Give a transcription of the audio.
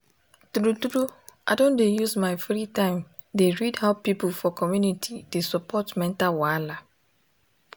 um i no really take community support for mental wahala serious until i um jam am myself um last year.